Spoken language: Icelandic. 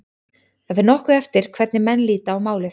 Það fer nokkuð eftir hvernig menn líta á málið.